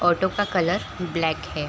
Auto का colour black है ।